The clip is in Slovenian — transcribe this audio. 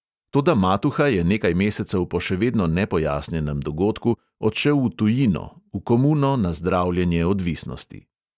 Toda matuha je nekaj mesecev po še vedno nepojasnjenem dogodku odšel v tujino, v komuno, na zdravljenje odvisnosti.